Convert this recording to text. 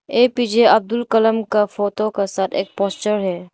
APJ Abdul Kalam का photo के साथ एक पोस्टर है।